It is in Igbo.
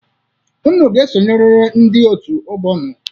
Unu ga-esonyeriri ndị òtù ọgbọ unu.